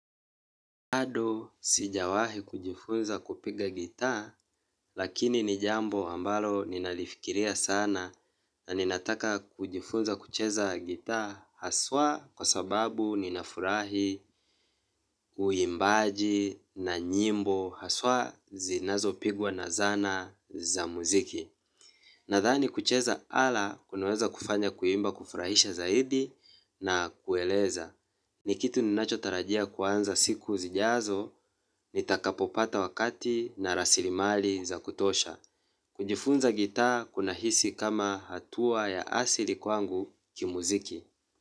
Bado sijawahi kujifunza kupiga gitaa lakini ni jambo ambalo ninalifikiria sana na ninataka kujifunza kucheza gitaa haswa kwa sababu ninafurahi uimbaji na nyimbo haswa zinazopigwa na zana za muziki. Nadhani kucheza ala kunaweza kufanya kuimba kufurahisha zaidi na kueleza. Ni kitu ninachotarajia kuanza siku zijazo, nitakapopata wakati na rasilimali za kutosha. Kujifunza gitaa kunahisi kama hatua ya asili kwangu kimuziki.